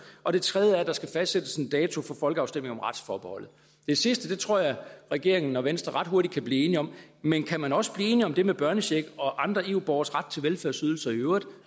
og det tredje er at der skal fastsættes en dato for folkeafstemning om retsforbeholdet det sidste tror jeg regeringen og venstre ret hurtigt kan blive enige om men kan man også blive enige om det med børnecheck og andre eu borgeres ret til velfærdsydelser i øvrigt